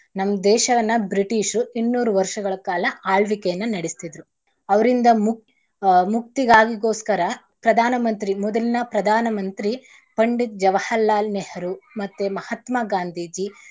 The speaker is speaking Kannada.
ನಮ್ ದೇಶವನ್ನ ಬ್ರಿಟಿಷರು ಇನ್ನೂರು ವರ್ಷಗಳ ಕಾಲ ಆಳ್ವಿಕೆಯನ್ನ ನಡಿಸ್ತಿದ್ರು ಅವ್ರಿಂದ ಮೂಕ್~ ಮುಕ್ತಿಗಾಗಿಗೋಸ್ಕರ ಪ್ರಧಾನ ಮಂತ್ರಿ ಮೊದಲಿನ ಪ್ರಧಾನ ಮಂತ್ರಿ ಪಂಡಿತ್ ಜವರಹರ್ಲಾಲ್ ನೆಹ್ರೂ ಮತ್ತೇ ಮಹಾತ್ಮಾ ಗಾಂಧೀಜಿ.